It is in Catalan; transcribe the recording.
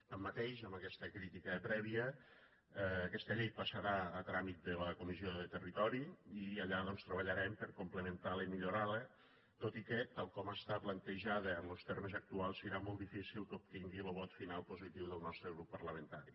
tanmateix amb aquesta crítica prèvia aquesta llei passarà a tràmit de la comissió de territori i allà doncs treballarem per complementar la i millorar la tot i que tal com està plantejada en los termes actuals serà molt difícil que obtingui lo vot final positiu del nostre grup parlamentari